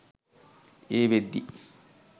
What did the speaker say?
ඒ වෙද්දි